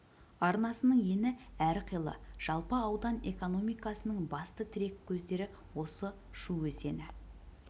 арнасының ені әрқилы жалпы аудан экономикасының басты тірек көздері осы шу өзені